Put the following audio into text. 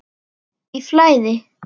Í flæði.